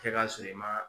Kɛ ka sɔrɔ i ma